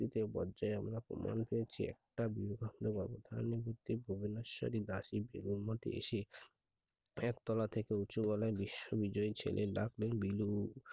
এ টিতে আমরা এ পর্যায়ে আমরা প্রমান পেয়েছি দাসী এসে একতলা থেকে উঁচু গলায় বিশেষ বিজয়ই চলে ডাক নাম বিলু